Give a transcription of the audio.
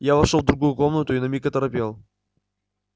я вошёл в другую комнату и на миг оторопел